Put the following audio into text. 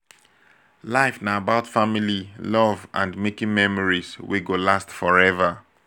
life na about family love and making memories wey go last forever